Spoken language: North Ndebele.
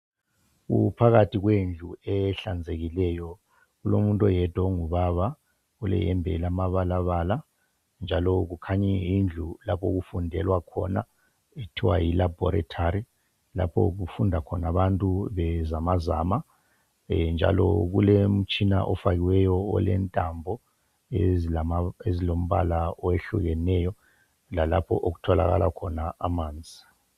Kuphakathi kwendlu ehlanzekileyo kulomuntu oyedwa ongubaba iyembe elamabalabala njalo kukhanya kuyindlu yokufundela okuthiwa yi laboritory lapho okufunda khona abantu bezamazama njalo kulomtshina ofakiweyo olentambo ezilombala okwehlukeneyo lalapho okutholakala khona amanzi..